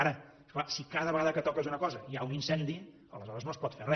ara és clar si cada vegada que toques una cosa hi ha un incendi aleshores no es pot fer re